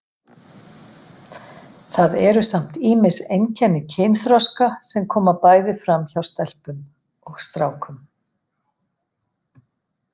Það eru samt ýmis einkenni kynþroska sem koma bæði fram hjá stelpum og strákum.